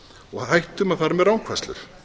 og hættum að fara með rangfærslur